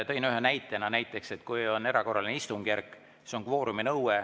Tõin ühe näitena, et kui on erakorraline istungjärk, siis on kvoorumi nõue.